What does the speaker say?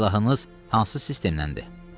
Silahınız hansı sistemdəndir?